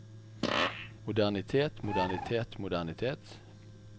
modernitet modernitet modernitet